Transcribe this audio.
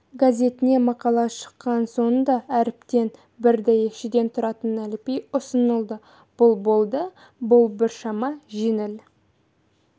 газетіне мақала шыққан сонда әріптен бір дәйекшеден тұратын әліпби ұсынылды бұл болды бұл біршама жеңіл